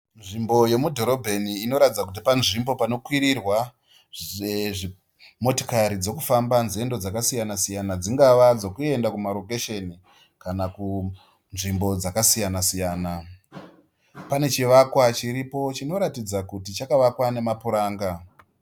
Nzvimbo yomudhorobheni inoratidza kuti panzvimbo panokwirirwa motikari dzokufamba nzendo dzakasiyana-siyana dzingava dzokuenda kumarokesheni kana kunzvimbo dzakasiyana-siyana. Panechivakwa chiripo chinoratidza kuti chakavakwa nemapuranga.